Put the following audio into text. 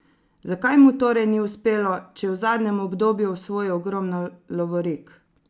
Zakaj mu torej ni uspelo, če je v zadnjem obdobju osvojil ogromno lovorik?